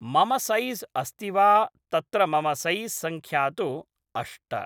मम सैॹ् अस्ति वा तत्र मम सैॹ् संख्या तु अष्ट